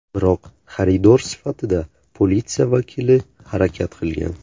Biroq xaridor sifatida politsiya vakili harakat qilgan.